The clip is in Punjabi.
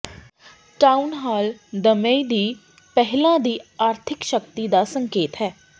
ਟਾਊਨ ਹਾਲ ਦਮਈ ਦੀ ਪਹਿਲਾਂ ਦੀ ਆਰਥਿਕ ਸ਼ਕਤੀ ਦਾ ਸੰਕੇਤ ਹੈ